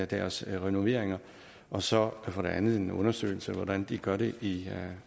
deres renoveringer og så for det andet en undersøgelse af hvordan de gør det i